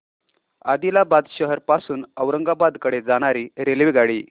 आदिलाबाद शहर पासून औरंगाबाद कडे जाणारी रेल्वेगाडी